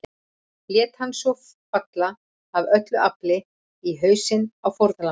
Lét hann svo falla AF ÖLLU AFLI í hausinn á fórnarlambinu.